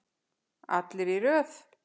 Allir í röð!